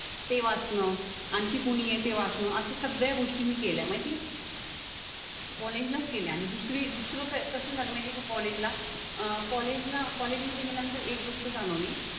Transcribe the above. ते वाचणं आणखी कोणी आहे ते वाचणं असं सगळया गोष्टी मी केल्या माहिती आहे कॉलेजला केल्या आणि दुसरी दुसरं काय कसं झालं माहिती का कॉलेजला अं कॉलेजला कॉलेजमध्ये गेल्यानंतर एक गोष्ट जाणवली